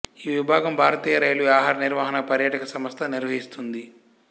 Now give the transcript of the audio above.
ఈ విభాగం భారతీయ రైల్వే ఆహార నిర్వహణ పర్యాటక సంస్థ నిర్వహిస్తుంది